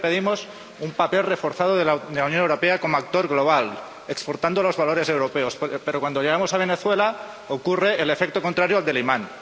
Siempre pedimos un papel reforzado de la Unión Europea como actor global, exportando los valores europeos, pero cuando llegamos a Venezuela ocurre el efecto contrario al del imán.